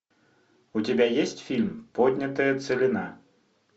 у тебя есть фильм поднятая целина